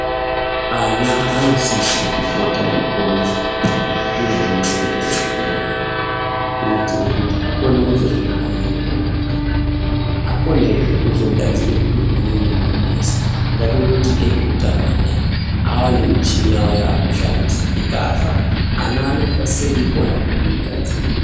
Ana anosise kupota eikone zviro zvimweni eikura kuitire kuti akone kuzozviraramire munyika. Akonezve kuzogadzire zviro zvimweni zvinonesa. Ngatimboti ezveutano anaya ava nemichini yavo yavaakushandisa, ikafa, ana anosise kuikonazve kuigadzira.